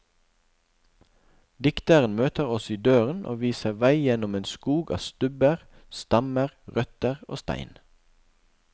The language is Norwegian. Dikteren møter oss i døren og viser vei gjennom en skog av stubber, stammer, røtter og stein.